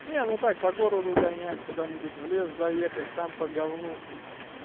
не ну так по городу гонять куда-нибудь в лес заехать там по говну